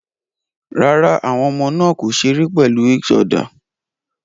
Rárá, àwọn ọmọ náà kò ṣeré pẹ̀lú eac other